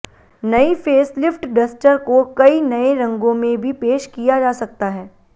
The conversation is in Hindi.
नई फेसलिफ्ट डस्टर को कई नये रंगों में भी पेश किया जा सकता है